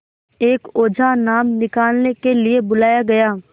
एक ओझा नाम निकालने के लिए बुलाया गया